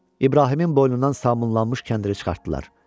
İbrahimin boynundan sabunlanmış kəndiri çıxartdılar.